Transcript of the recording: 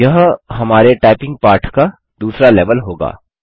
यह हमारे टाइपिंग पाठ का दूसरा लेवल होगा